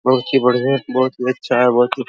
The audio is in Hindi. बहुत ही बढियाँ है बहुत ही अच्छा है बहुत ही --